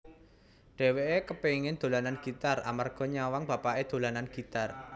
Dhèwèké kepéngin dolanan gitar amarga nyawang bapaké dolanan gitar